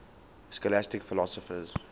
scholastic philosophers